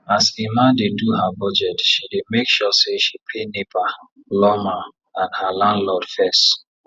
as emma dey do her budget she dey make sure say she pay nepa lawma and her landlord fess